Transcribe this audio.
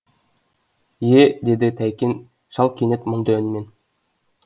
е е деді тәйкен шал кенет мұңды үнмен